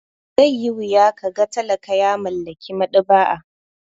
Zai yi wuya ka ga talaka ya mallaki maɗaba'a.